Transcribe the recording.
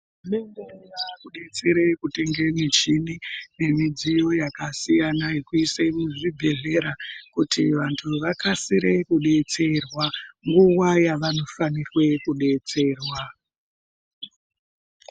Hurumende yaakudetsere kutenge michini nemidziyo yakasiyana yekuise muzvibhedhlera ,kuti vantu vakasire kudetserwa ,nguva yavanofanirwe kudetserwa.